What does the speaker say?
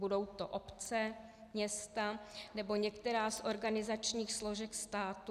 Budou to obce, města nebo některá z organizačních složek státu?